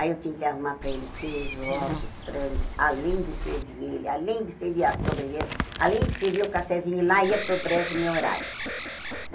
Aí eu tinha que arrumar para ele queijo, ovos, frango, além de servir ele, além de servir a sobremesa, além de servir o cafezinho, e lá ia para o brejo o meu horário.